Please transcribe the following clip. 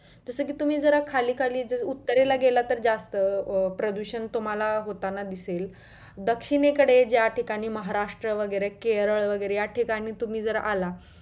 जस कि तुम्ही जरा खाली खाली उत्तरेला गेला तर जास्त अं प्रदूषण तुम्हाला होताना दिसेल दक्षिणेकडे ज्या ठिकाणी महाराष्ट्र वगैरे केरळ वगैरे या ठिकाणी तुम्ही जर आला